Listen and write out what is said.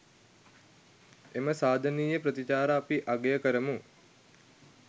එම සාධනීය ප්‍රතිචාරය අපි අගය කරමු.